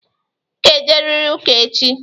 Ị ga-eje riri ụka echi!